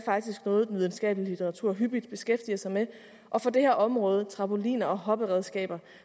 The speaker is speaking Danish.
noget den videnskabelige litteratur hyppigt beskæftiger sig med og for det her område trampoliner og hopperedskaber